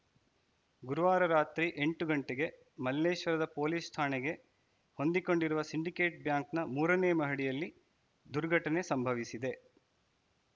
ಗುರುವಾರ ರಾತ್ರಿ ಎಂಟು ಗಂಟೆಗೆ ಮಲ್ಲೇಶ್ವರದ ಪೊಲೀಸ್‌ ಠಾಣೆಗೆ ಹೊಂದಿಕೊಂಡಿರುವ ಸಿಂಡಿಕೇಟ್‌ ಬ್ಯಾಂಕ್‌ನ ಮೂರನೇ ಮಹಡಿಯಲ್ಲಿ ದುರ್ಘಟನೆ ಸಂಭವಿಸಿದೆ